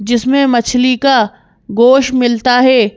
जिसमें मछली का गोष मिलता है।